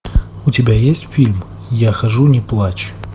у тебя есть фильм я хожу не плачь